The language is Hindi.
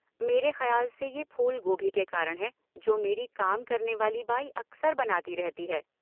मेरे खयाल से यह फूल गोभी के कारण है जो मेरी काम करने वाली बाई अक्सर बनाती रहती है।